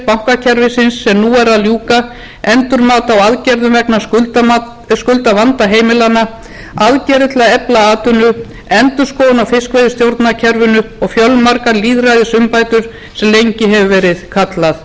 bankakerfisins sem nú er að ljúka endurmat á aðgerðum vegna skuldavanda heimilanna aðgerðir til að efla atvinnu endurskoðun á fiskveiðistjórnarkerfinu og fjölmargar lýðræðisumbætur sem lengi hefur verið kallað